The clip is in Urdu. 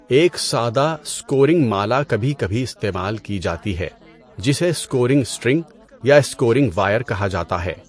ایک سادہ اسکورنگ مالا کبھی کبھی استعمال کی جاتی ہے، جسے 'اسکورنگ سٹرنگ' یا اسکورنگ وائر' کہا جاتا ہے۔